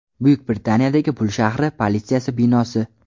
Buyuk Britaniyadagi Pul shahri politsiyasi binosi.